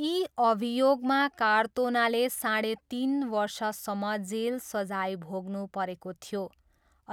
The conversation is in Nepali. यी अभियोगमा कार्तोनाले साढे तिन वर्षसम्म जेल सजाय भोग्नु परेको थियो